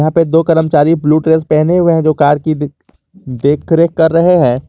यहां पे दो कर्मचारी ब्लू ड्रेस पहने हुए हैं जो कार की देख रेख कर रहे हैं।